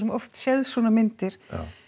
oft séð svona myndir